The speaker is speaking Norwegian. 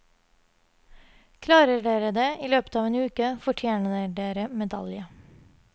Klarer dere det i løpet av en uke, fortjener dere medalje.